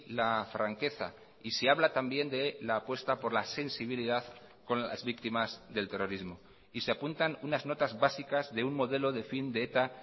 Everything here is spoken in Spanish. la franqueza y se habla también de la apuesta por la sensibilidad con las víctimas del terrorismo y se apuntan unas notas básicas de un modelo de fin de eta